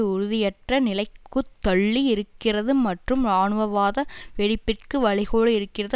உறுதியற்ற நிலைக்குத்தள்ளி இருக்கிறது மற்றும் இராணுவவாத வெடிப்பிற்கு வழிகோலி இருக்கிறது